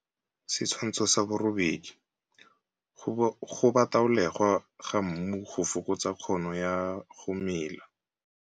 Setshwantsho sa 8. Go bataolegwa ga mmu go fokotsa kgono ya go mela.